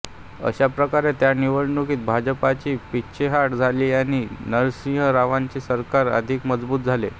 अशाप्रकारे त्या निवडणुकीत भाजपची पीछेहाट झाली आणि नरसिंह रावांचे सरकार अधिक मजबूत झाले